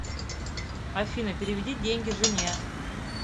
афина переведи деньги жене